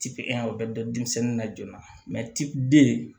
Tipan o bɛ don denmisɛnnin na joona